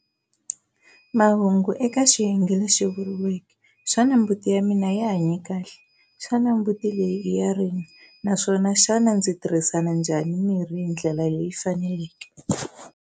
Mahungu eka xiyenge lexi vuriweke, Xana mbuti ya mina yi hanye kahle?, Xana mbuti leyi i ya rini? naswona Xana ndzi tirhisana njhani mirhi hi ndlela leyi fanelekeke?